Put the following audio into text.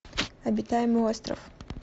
обитаемый остров